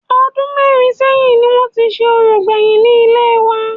Ọdún mẹ́rin sẹ́yìn ni wọn ti ṣe orò gbèyìn ni ilé wa